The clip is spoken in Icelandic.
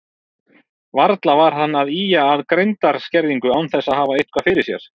Varla var hann að ýja að greindarskerðingu án þess að hafa eitthvað fyrir sér.